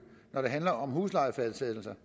når det handler om huslejefastsættelser